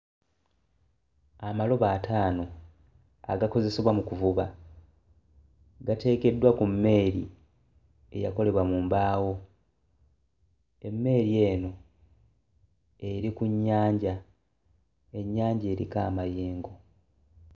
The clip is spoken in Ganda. Amalobo ataano agakozesebwa mu kuvuba gateekeddwa ku mmeeri eyakolebwa mu mbaawo, emmeeri eno eri ku nnyanja, ennyanja eriko amayengo.